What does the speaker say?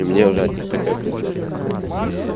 у мне уже от них такая пизда происходила